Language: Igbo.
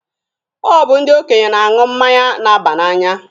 Ọ bụ ndị okenye na-aṅụ mmanya na-aba n'anya.